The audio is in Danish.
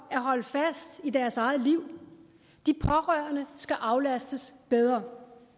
at holde fast i deres eget liv de pårørende skal aflastes bedre